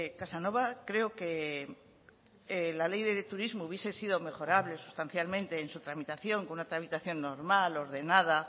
casanova creo que la ley de turismo hubiese sido mejorable sustancialmente en su tramitación con una tramitación normal ordenada